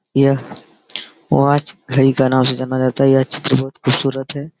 यह वॉच घड़ी के नाम से जाना जाता है यह चित्र बहुत खूबसूरत है ।